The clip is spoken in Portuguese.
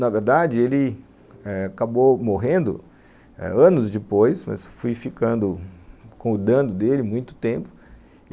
Na verdade, ele acabou morrendo anos depois, mas fui ficando cuidando dele muito tempo.